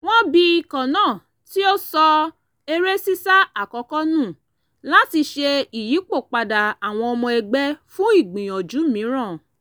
wọ́n bi ikọ̀ náà tí ó sọ eré sísá àkọ́kọ́ nù láti ṣe ìyípòpadà àwọn ọmọ ẹgbẹ́ fún ìgbìyànjú mìíràn